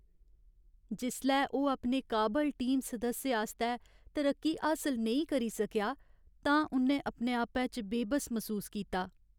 जिसलै ओह् अपने काबल टीम सदस्य आस्तै तरक्की हासल नेईं करी सकेआ तां उ'न्नै अपने आपै च बेबस मसूस कीता।